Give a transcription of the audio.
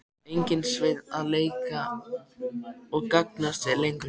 Enginn Sveinn að leika og gantast við lengur.